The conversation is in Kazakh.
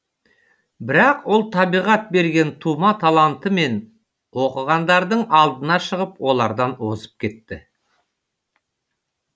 бірақ ол табиғат берген тума талантымен оқығандардың алдына шығып олардан озып кетті